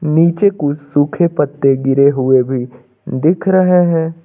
नीचे कुछ सूखे पत्ते गिरे हुए भी दिख रहे हैं।